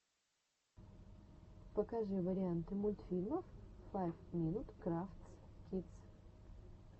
покажи варианты мультфильмов файв минут крафтс кидс